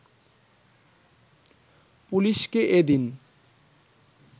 পুলিশকে এদিন